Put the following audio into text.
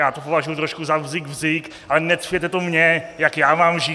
Já to považuji trošku za "bzik bzik", ale necpěte to mně, jak já mám žít.